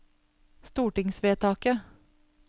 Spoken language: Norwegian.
stortingsvedtaket